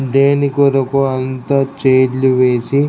దేని కొరకు అంత ఛైర్లు వేసి --